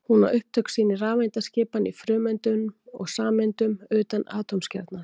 Hún á upptök sín í rafeindaskipan í frumeindum og sameindum utan atómkjarnans.